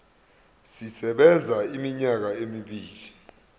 sisebenza iminyaka emibili